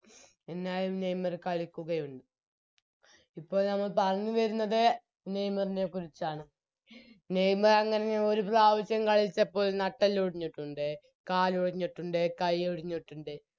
എന്നാലും നെയ്‌മർ കളിക്കുകയുണ്ട് ഇപ്പോൾ നമ്മൾ പറഞ്ഞുവരുന്നത് നെയ്മറിനെക്കുറിച്ചാണ് നെയ്മറെങ്ങനെ ഒരു പ്രാവശ്യം കളിച്ചപ്പോൾ നട്ടെല്ലൊടിഞ്ഞിട്ടുണ്ട് കാൽ ഒടിഞ്ഞിട്ടുണ്ട് കൈ ഒടിഞ്ഞിട്ടുണ്ട്